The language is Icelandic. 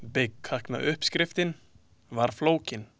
Byggkaknauppskriftin var flókin.